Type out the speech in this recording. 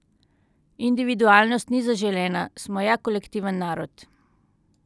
Individualnost ni zaželena, smo ja kolektiven narod!